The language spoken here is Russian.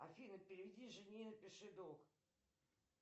афина переведи жене напиши долг